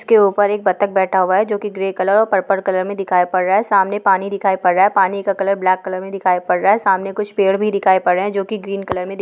उसके ऊपर एक बत्तख बैठा हुआ है जोकि ग्रे कलर और पर्पल कलर में दिखाई पड़ रहा है| सामने पानी दिखाई पड़ रहा है| पानी का कलर ब्लैक कलर में दिखाई पड़ रहा है| सामने कुछ पेड़ भी दिखाई पड़ रहे हैं जोकि ग्रीन कलर में दि--